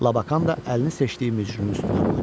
Labakan da əlini seçdiyi mücrünün üstünə qoydu.